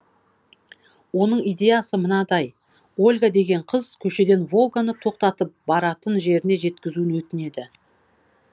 оның идеясы мынадай ольга деген қыз көшеден волганы тоқтатып баратын жеріне жеткізуін өтінеді